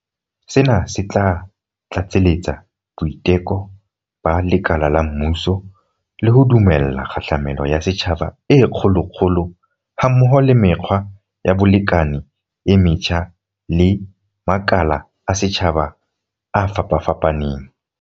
Sena se tla tlatseletsa boiteko ba lekala la mmuso, le ho dumella kgahlamelo ya setjhaba e kgolokgolo ha mmoho le mekgwa ya bolekane e metjha le makala a setjhaba a fapafapaneng.